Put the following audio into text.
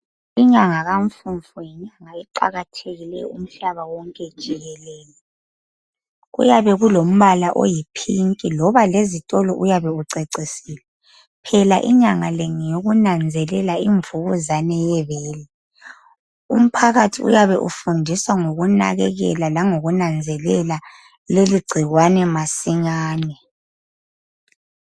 Inyanga kaMfumfu yinyanga eqakathekileyo umhlaba wonke jikelele. Kuyabe kulombala oyiphinki loba lezitolo uyabe ucecisiwe. Phela inyanga le ngeyokunanzelela imvukuzane yebele. Umphakathi uyabe ufundisa ngokunakekela langokunanzelela leli gcikwane masinyane.